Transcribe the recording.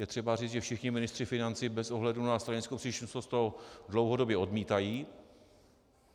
Je třeba říct, že všichni ministři financí bez ohledu na stranickou příslušnost to dlouhodobě odmítají.